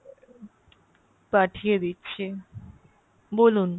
পাঠিয় দিচ্ছি বলুন ?